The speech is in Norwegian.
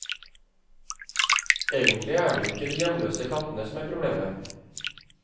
Egentlig er det jo ikke de hjemløse kattene som er problemet.